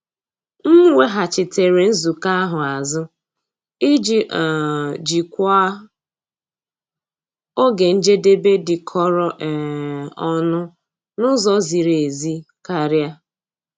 M weghachitere nzukọ ahụ azụ iji um jikwaa oge njedebe dịkọrọ um onụ n'ụzọ ziri ezi karịa.